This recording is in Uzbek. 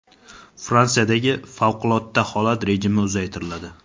Fransiyadagi favqulodda holat rejimi uzaytiriladi.